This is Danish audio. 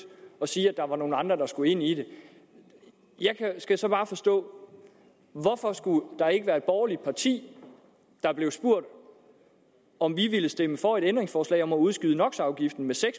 at sige at der var nogle andre der skulle med ind i det jeg skal så bare forstå hvorfor skulle der ikke være et borgerligt parti der blev spurgt om det ville stemme for et ændringsforslag om at udskyde